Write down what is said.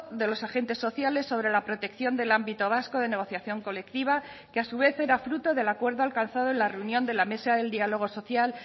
de los agentes sociales sobre la protección del ámbito vasco de negociación colectiva que a su vez era fruto del acuerdo alcanzado en la reunión de la mesa del diálogo social